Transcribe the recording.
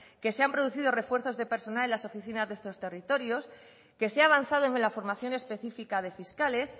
que se han producido refuerzos de personal en las oficinas de estos territorios que se ha avanzado en la formación específica de fiscales